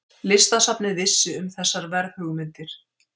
Listasafnið vissi um þessar verðhugmyndir.